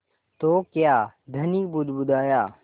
तो क्या धनी बुदबुदाया